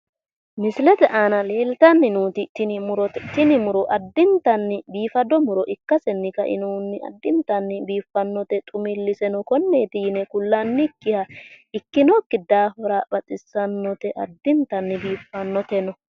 Misilete aana leeltanni nooti tini murote. Tini muro addintanni biiffanno muro ikkasenni kainobunni addintanni biiffannote xumilliseno konneeti yine kullannikkiha ikkinokki daafira baxissannote addintanni biiffannoteno.